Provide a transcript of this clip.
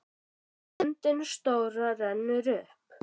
Og stundin stóra rennur upp.